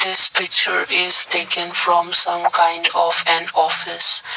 This picture is taken from some kind of an office.